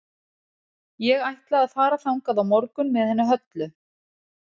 Ég ætla að fara þangað á morgun með henni Höllu.